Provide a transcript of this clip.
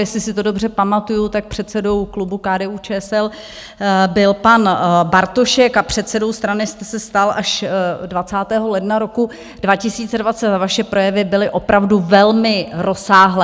Jestli si to dobře pamatuji, tak předsedou klubu KDU-ČSL byl pan Bartošek a předsedou strany jste se stal až 20. ledna roku 2020 a vaše projevy byly opravdu velmi rozsáhlé.